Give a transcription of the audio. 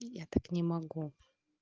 я так не могу